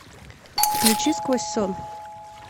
включи сквозь сон